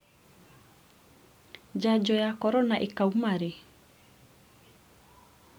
njanjo ya korona ĩkauma rĩ?